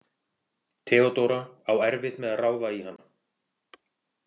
Theodóra á erfitt með að ráða í hana.